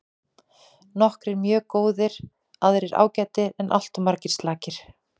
Nokkrir mjög góðir aðrir ágætir en alltof margir slakir.